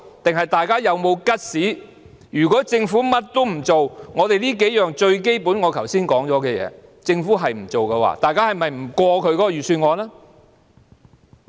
還是大家有沒有 guts， 如果政府甚麼也不做，連我們剛才提到最基本的數項建議也不做的話，大家會否不通過財政預算案？